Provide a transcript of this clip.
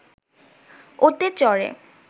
ওতে চড়ে